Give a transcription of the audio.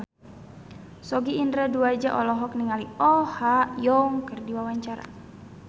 Sogi Indra Duaja olohok ningali Oh Ha Young keur diwawancara